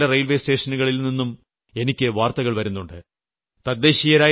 ഭാരതത്തിലെ പല റെയിൽവേ സ്റ്റേഷനുകളിൽ നിന്നും എനിക്ക് വാർത്തകൾ വരുന്നുണ്ട്